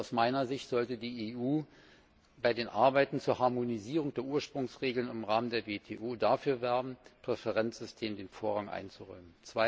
Aus meiner Sicht sollte die EU bei den Arbeiten zur Harmonisierung der Ursprungsregeln im Rahmen der WTO dafür werben, dem Präferenzsystem Vorrang einzuräumen.